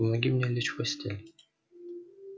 помоги мне лечь в постель